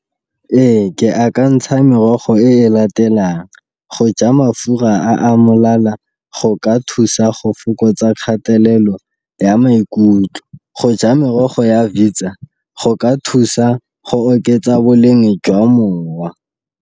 Ee, ke akantsha merogo e e latelang go ja mafura a a molala go ka thusa go fokotsa kgatelelo ya maikutlo. Go ja merogo ya go ka thusa go oketsa boleng jwa mowa.